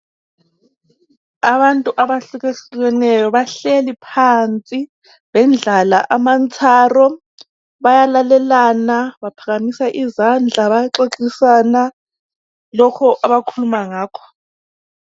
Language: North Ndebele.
Abantu abahlukahlukeneyo bahleli phansi, bendlala amantsharo, bayalalelana, baphakamisa izandla bayaxoxisana ngalokho abakhuluma ngakho.